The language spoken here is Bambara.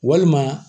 Walima